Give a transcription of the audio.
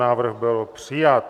Návrh byl přijat.